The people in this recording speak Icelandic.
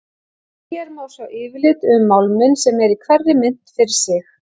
Hér má sjá yfirlit um málminn sem er í hverri mynt fyrir sig.